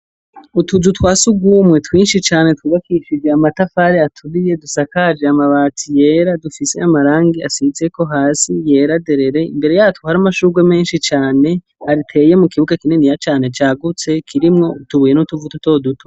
Utuzu twa surwumwe twinshi cane twubakishijwe amatafari aturiye dusakaje amabati yera dufise amarangi asizeko hasi yera derere imbere yatwo hari amashurwe menshi cane ateye mu kibuga kininiya cane cagutse kirimwo utubuye n'utuvu dutoduto.